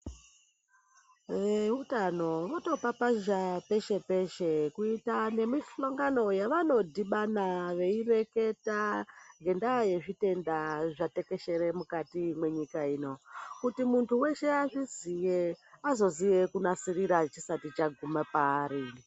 Veutano votopapazha peshe peshe kuita nemihlongano yevanodhibana veireketa ngendaa yezvitenda zvatekeshera mukati mwenyika ino kuti munthu weshe azviziye azoziye kunasirira chisati chaguma paari.